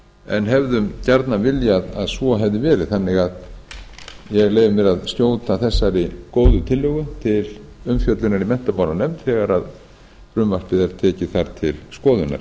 en hefðum gjarnan viljað að svo hefði verið þannig að ég leyfi mér að skjóta þessari góðu tillögu til umfjöllunar í menntamálanefnd þegar frumvarpið er tekið þar til skoðunar